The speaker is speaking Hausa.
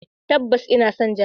Tabbas ina son jami'a.